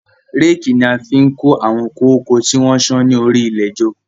Réèkì ni a fi kó àwọn kóko tí wọ́n sán ni orí ilẹ̀ jọ